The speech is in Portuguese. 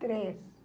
Três.